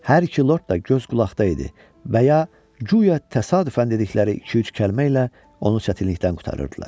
Hər iki Lord da göz qulaqda idi və ya guya təsadüfən dedikləri iki-üç kəlmə ilə onu çətinlikdən qurtarırdılar.